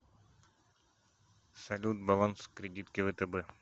салют баланс кредитки втб